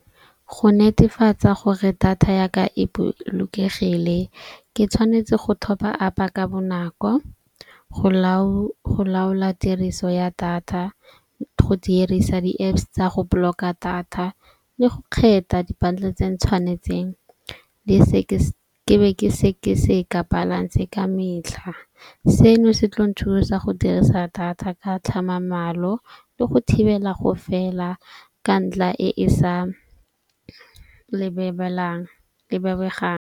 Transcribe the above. Go netefatsa gore data ya ka e bolokegile ke tshwanetse go top-a up-a ka bonako, go laola tiriso ya data. Go dirisa di Apps tsa go block-a data le go kgetha di-bundle tse ntshwanetseng. Ke be ke seke seka balance ka metlha. Seno se tlo nthusa go dirisa data ka tlhamamalo le go thibela go fela ka ntla e e sa lebebegang.